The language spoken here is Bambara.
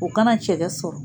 O kana cɛgɛ sɔrɔ